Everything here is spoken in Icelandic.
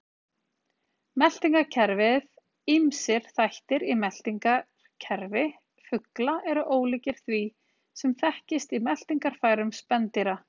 Meltingarkerfið Ýmsir þættir í meltingarkerfi fugla eru ólíkir því sem þekkist í meltingarfærum spendýra.